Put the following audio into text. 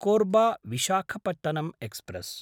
कोर्बा–विशाखपट्टणम् express